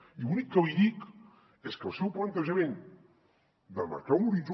i l’únic que li dic és que el seu plantejament de marcar l’horitzó